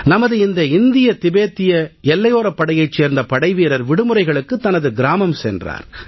நமது இந்த இந்திய திபத்திய எல்லையோரப் படையைச் சேர்ந்த படைவீரர் விடுமுறைகளுக்கு தனது கிராமம் சென்றார்